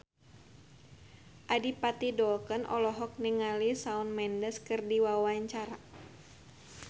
Adipati Dolken olohok ningali Shawn Mendes keur diwawancara